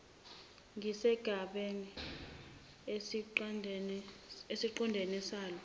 ngesigaba esiqondene salo